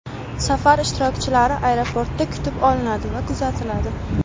Safar ishtirokchilari aeroportda kutib olinadi va kuzatiladi.